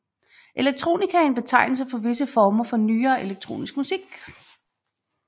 Electronica er en betegnelse for visse former for nyere elektronisk musik